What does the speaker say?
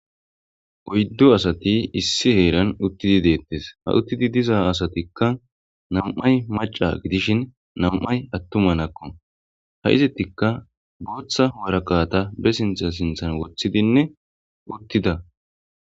oyddo asati issi heeran uttidi deettes ha uttidi diza asatikka nam7ay maca gidishin nam7ay attumanakko ha izittikka booththa woraqata be sintha sinthan woththidinne uttida